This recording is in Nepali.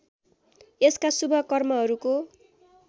यसका शुभ कर्महरूको